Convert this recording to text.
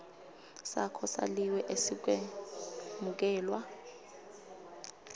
sakho saliwe asikemukelwa